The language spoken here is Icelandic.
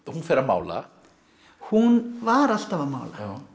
hún fer að mála hún var alltaf að mála